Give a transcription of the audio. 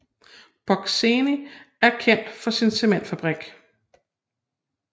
Brocēni er kendt for sin cementfabrik